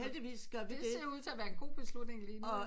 Det ser ud til at være en god beslutning lige nu